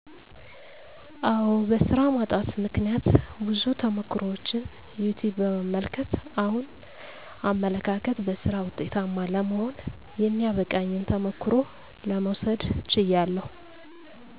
አዎ በሥራ ማጣት ምክነያት ብዙ ተሞክሮችን ዩትዩብ በመመልከት አሁን አመለካከት በሥራ ወጤታማ ለመሆን የሚያበቃኝን ተሞክሮ ለመውሰድ ችያለሁ